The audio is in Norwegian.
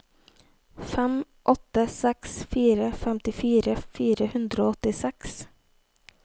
fem åtte seks fire femtifire fire hundre og åttiseks